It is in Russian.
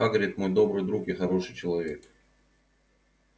хагрид мой добрый друг и хороший человек